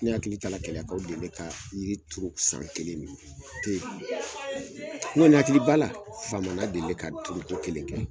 Ne hakili taara keleyakaw delile ka yiri turu san kelen mina o te ye n kɔni hakili b'ala famana delile ka tugu ko kelen kɛ